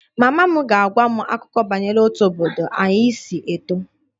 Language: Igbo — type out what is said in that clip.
/Mama m ga-agwa m akụkọ banyere otú obodo anyị si eto